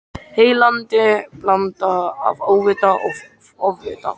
Heillandi blanda af óvita og ofvita.